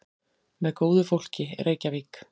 Með góðu fólki, Reykjavík.